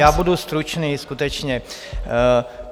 Já budu stručný skutečně.